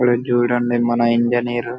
ఇక్కడ చూడండి మన ఇండియన్ ఎయిర్